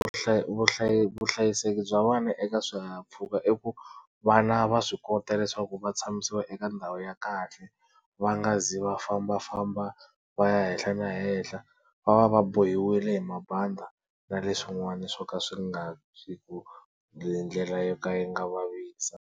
vuhlayiseki bya vana eka swihahampfhuka i ku vana va swi kota leswaku va tshamisiwa eka ndhawu ya kahle va nga zi va fambafamba va ya henhla na henhla va va va bohiwile hi mabandi na leswin'wana swo ka swi nga riku hi ndlela yo ka yi nga vavisa.